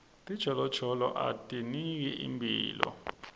tijolojolo atiniketi imphilo